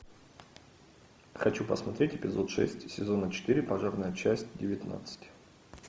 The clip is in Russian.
хочу посмотреть эпизод шесть сезона четыре пожарная часть девятнадцать